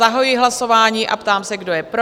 Zahajuji hlasování a ptám se, kdo je pro?